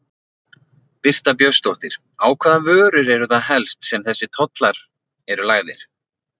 Birta Björnsdóttir: Á hvaða vörur eru það helst sem þessir ofurtollar eru lagðir?